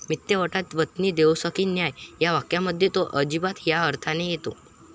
मित्त्य वट्टात वतनी देऊसकी न्हाय' या वाक्यामध्ये तो 'अजिबात' या अर्थाने येतो.